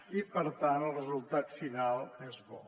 i per tant el resultat final és bo